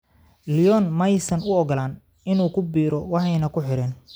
Lyon ma aysan u oggolaan inuu ku biiro, waxayna ku xireen.